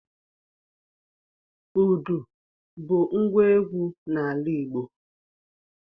Udu bu ngwa egwu n'ala Igbo